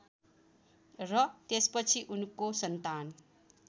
र त्यसपछि उनको सन्तान